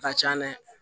A ka can dɛ